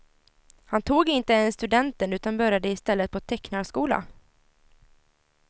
Han tog inte ens studenten utan började i stället på tecknarskola.